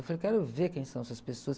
Eu falei, quero ver quem são essas pessoas.